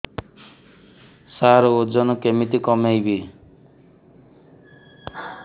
ସାର ଓଜନ କେମିତି କମେଇବି